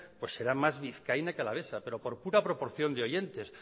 será más vizcaína que alavesa pero por pura proporción de oyentes